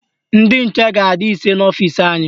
Ndị nche ga-adị ise n'ọfisi anyị